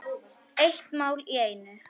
Eitt mál í einu.